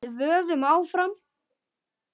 Við vöðum áfram.